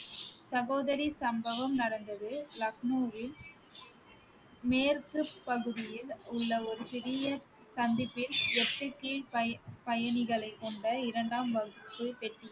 சகோதரி சம்பவம் நடந்தது லக்னோவில் மேற்கு பகுதியில் உள்ள ஒரு சிறிய சந்திப்பில் பய~ பயணிகளைக் கொண்ட இரண்டாம் வகுப்பு பெட்டியில்